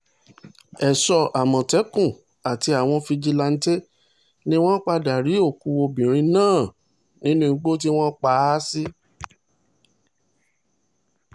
èso àmọ̀tẹ́kùn àti àwọn fíjìláńtẹ́ ni wọ́n padà rí òkú obìnrin náà nínú igbó tí wọ́n pa á sí